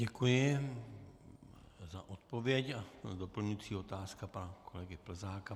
Děkuji za odpověď a doplňující otázka pana kolegy Plzáka.